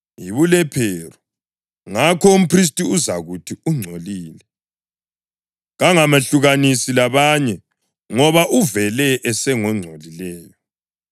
yibulephero, ngakho umphristi uzakuthi ungcolile. Kangamehlukanisi labanye, ngoba uvele esengongcolileyo.